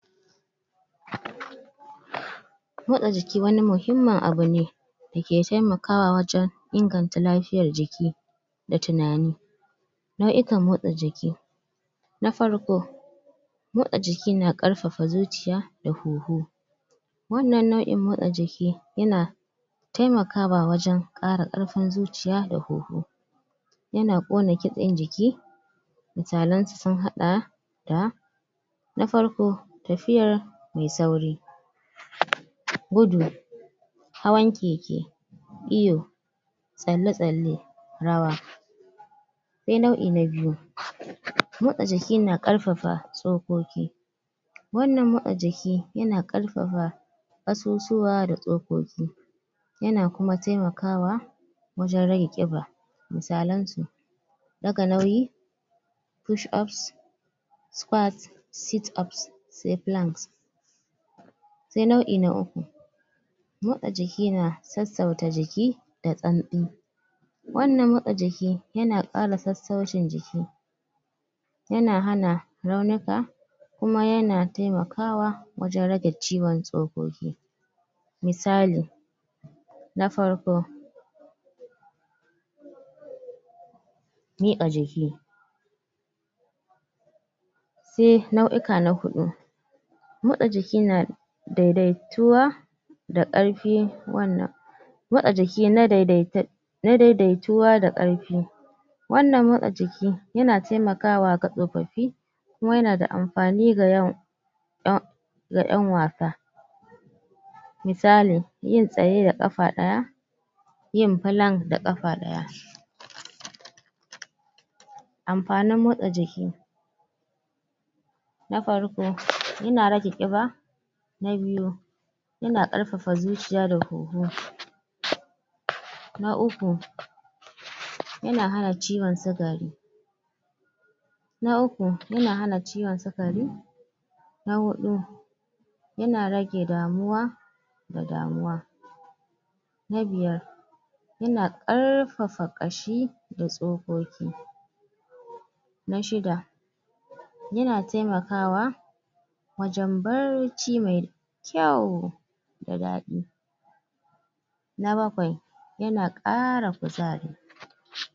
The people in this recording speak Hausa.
Motsa jiki wani muhimman abu ne da ke taimakawa wajen inganta lafiyar jiki da tunani nuayuƙan motsa jiki na farko motsa jiki na karfafa zuciya da hoho wannan naui motsa jiki ya na taimakawa wajen kara karfin zuciya da hoho ya na kona kitsen jiki misalen su, sun hada da na farko, tafiyar mai sauri gudu hawan keke, iyo tsale-tsale rawa sai naui na biyu motsa jiki na karfafa tsokoƙi wannan motsa jiki ya na karfafa kasusuwa da tsokoki ya na kuma taimakawa wajen rage kiba, musalen su daga nauyi push ups squat, sit ups, sai planks sai naui na uku motsa jiki na sausauta jiki da tsansi wannan motsa jiki, ya na tsallafa sautin jiki ya na hana raunuka kuma ya na taimakawa wajen rage ciwon tsokoki misali na farko mi ka jiki sai nauyuka na hudu motsa jiki na, daidaituwa da karfi wannan motsa jiki na daidaita na daidaituwa da karfi wannan motsa jiki ya na taimakawa ka tsofofi kuma ya na da amfani ga yawan da ƴan wasa misali yin tsaye da kafa daya yin plank da kafa daya amfanin motsa jiki na farko, ya na rage kiba na biyu ya na karfafa zuciya da hoho na uku ya na hana ciwon sukari na uku, ya na hana ciwon sukari na hudu ya na rage damuwa da damuwa na biyar ya na karfafa kashi da tsokoki na shidda ya na taimakawa wajen barci mai kyau, da dadi na bakwai ya na kara kuzari.